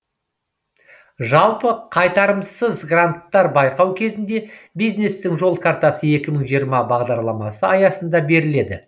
жалпы қайтарымсыз гранттар байқау кезінде бизнестің жол картасы екі мың жиырма бағдарламасы аясында беріледі